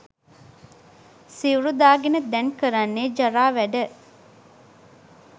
සිවුරු දාගෙන දැන් කරන්නේ ජරා වැඩ